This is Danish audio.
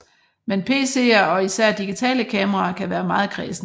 Men PCer og især digitale kameraer kan være meget kræsne